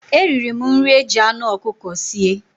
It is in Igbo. Eriri m nri e jị anụ ọkụkọ sie.